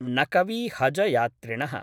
नकवी हज यात्रिणः